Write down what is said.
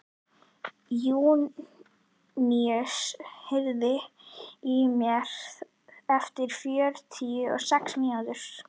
Júníus, heyrðu í mér eftir fjörutíu og sex mínútur.